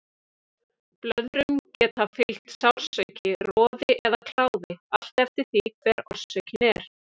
Blöðrum geta fylgt sársauki, roði eða kláði, allt eftir því hver orsökin er.